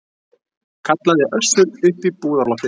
kallaði Össur upp í búðarloftið.